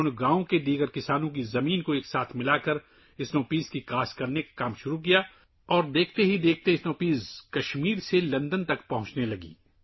انہوںنے گاؤں کے دوسرے کسانوں کی زمینیں ملا کر برف کے مٹر اگانے شروع کیے اور جلد ہی کشمیر سے برف کے مٹر لندن پہنچنے لگے